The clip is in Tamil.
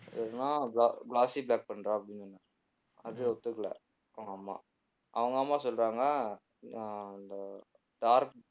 இல்லன்னா bla~ bloffy black பண்றா அப்படினு உம் அதுவும் ஒத்துக்கலை அவங்க அம்மா அவங்க அம்மா சொல்றாங்க ஆஹ் அந்த dark